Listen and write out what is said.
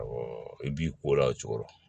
Awɔ i b'i ko la o cogo